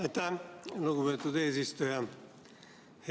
Aitäh, lugupeetud eesistuja!